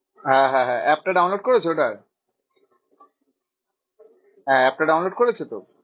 হ্যাঁ হ্যাঁ হ্যাঁ app টা download করেছো ওটার? হ্যাঁ app টা download করেছোতো?